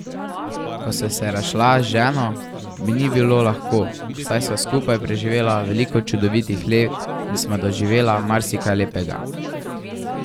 Ko sva se razšla z ženo, mi ni bilo lahko, saj sva skupaj preživela veliko čudovitih let in sva doživela marsikaj lepega.